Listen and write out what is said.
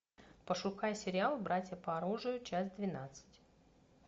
пошукай сериал братья по оружию часть двенадцать